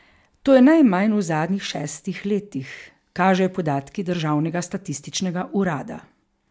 To je najmanj v zadnjih šestih letih, kažejo podatki državnega statističnega urada.